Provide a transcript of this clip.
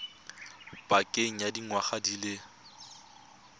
pakeng ya dingwaga di le